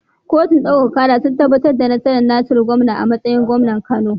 Kotun ɗaukaka kara sun tabbatar da nasarar Nasiru gawuna a matsayin gwamnan kano